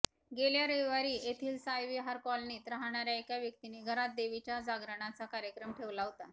गेल्या रविवारी येथील साई विहार कॉलनीत राहणाऱ्या एका व्यक्तीने घरात देवीच्या जागरणाचा कार्यक्रम ठेवला होता